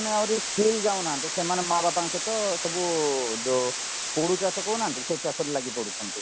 ମାନେ ଆହୁରି ସ୍କୁଲ ଯାଉନାହାନ୍ତି ସେମାନେ ମାଆ ବାପାଙ୍କ ସହିତ ସବୁ ପୋଡୁ ଚାଷ କହୁନାହାନ୍ତି ସେଚାଷ ରେ ଲାଗିପଡୁଛନ୍ତି